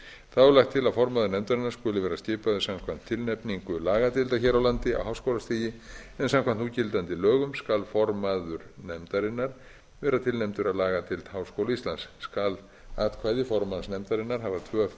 þá er lagt til að formaður nefndarinnar skuli vera skipaður samkvæmt tilnefningu lagadeildar hér á landi á háskólastigi en samkvæmt núgildandi lögum skal formaður nefndarinnar vera tilnefndur af lagadeild háskóla íslands skal atkvæði formanns nefndarinnar hafa tvöfalt